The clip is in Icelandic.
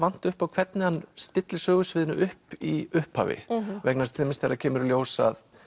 upp á hvernig hann stillir sögusviðinu upp í upphafi vegna þess til dæmis þegar það kemur í ljós að